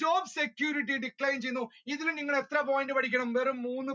job security decline ചെയ്യുന്നു ഇതിൽ നിങ്ങൾ എത്ര point പഠിക്കണം വെറും മൂന്ന്